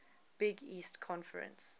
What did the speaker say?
big east conference